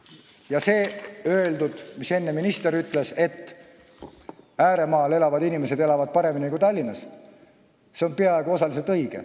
Ja see, mis minister enne ütles, et ääremaal elavad inimesed paremini kui Tallinnas, on osaliselt õige.